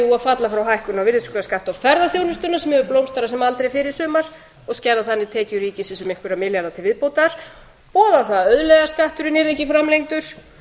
jú að falla frá hækkun á virðisaukaskatti á ferðaþjónustuna sem hefur blómstrað sem aldrei fyrr í sumar og skerða þannig tekjur ríkisins um einhverja milljarða til viðbótar boða það að auðlegðarskatturinn yrði ekki framlengdur